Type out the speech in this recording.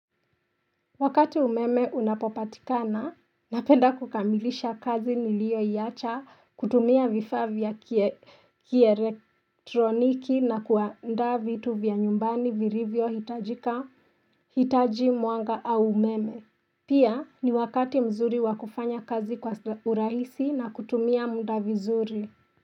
Wakati umeme unapopatikana, napenda kukamilisha kazi nilioiacha kutumia vifaa vya kielektroniki na kuandaa vitu vya nyumbani virivyo hitajika hitaji mwanga au umeme. Pia ni wakati mzuri wa kufanya kazi kwa urahisi na kutumia mda vizuri.